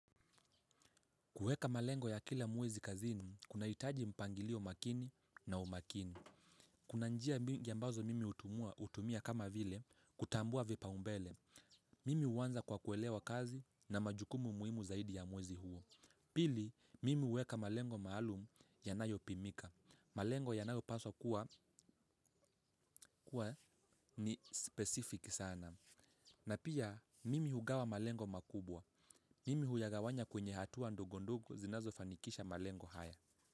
Kueka malengo ya kila mwezi kazini, kuna hitaji mpangilio makini na umakini. Kuna njia mingi ambazo mimi hutumia kama vile, kutambua vipa umbele. Mimi uwanza kwa kuelewa kazi na majukumu muhimu zaidi ya mwezi huo. Pili, mimi huweka malengo maalum ya nayo pimika. Malengo ya nayo paswa kuwa ni specific sana. Na pia, mimi hugawa malengo makubwa. Mimi huyagawanya kwenye hatua ndogondogo zinazo fanikisha malengo haya.